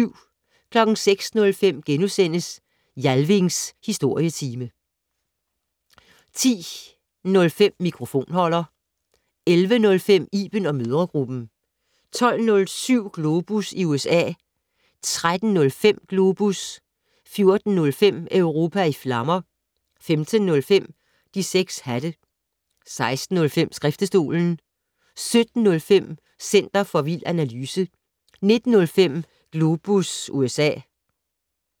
06:05: Jalvings Historietime * 10:05: Mikrofonholder 11:05: Iben & mødregruppen 12:07: Globus i USA 13:05: Globus 14:05: Europa i flammer 15:05: De 6 hatte 16:05: Skriftestolen 17:05: Center for vild analyse 19:05: Globus USA